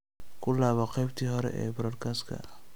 ku laabo qaybtii hore ee podcast-ka